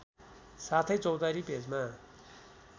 साथै चौतारी पेजमा